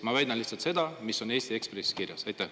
Ma väidan lihtsalt seda, mis on Eesti Ekspressis kirjas.